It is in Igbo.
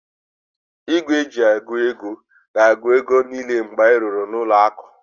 Igwe eji agụ ego gs-agu ego ahu niile mgbe anyị rụrụ ụlọ aku